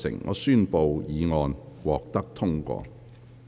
我宣布議案獲得通過。